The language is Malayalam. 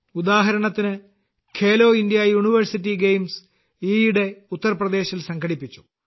ഉദാഹരണത്തിന് ഖേലോ ഇന്ത്യ യൂണിവേഴ്സിറ്റി ഗെയിംസ് ഈയിടെ ഉത്തർപ്രദേശിൽ സംഘടിപ്പിച്ചു